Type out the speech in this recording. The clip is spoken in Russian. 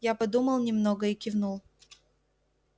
я подумал немного и кивнул